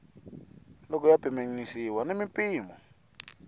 loko ya pimanisiwa na mimpimo